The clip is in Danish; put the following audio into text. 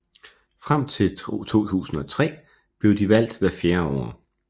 Frem til 2003 blev de valgt hvert fjerde år